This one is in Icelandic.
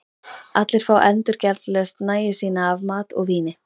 Allir fá endurgjaldslaust nægju sína af mat og víni.